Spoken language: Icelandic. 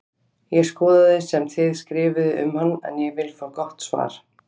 Ég skoðaði sem þið skrifuðuð um hann en ég vil fá gott svar!